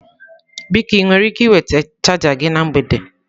Biko ị nwere ike iweta chaja gị na mgbede?